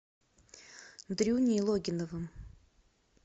дрюней логиновым